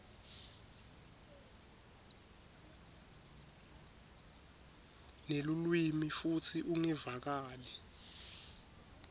nelulwimi futsi ungevakali